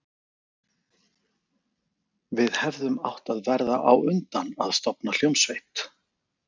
Við hefðum átt að verða á undan að stofna hljómsveit.